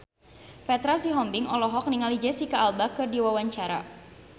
Petra Sihombing olohok ningali Jesicca Alba keur diwawancara